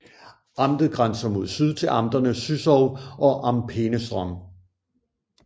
Amtet grænser mod syd til amterne Züssow og Am Peenestrom